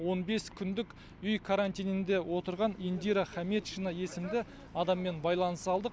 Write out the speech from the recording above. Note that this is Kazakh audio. он бес күндік үй карантинінде отырған индира хаметчина есімді адаммен байланыса алдық